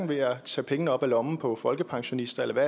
ved at tage pengene op af lommen på folkepensionister eller ved